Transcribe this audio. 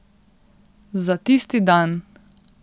Za tisti dan.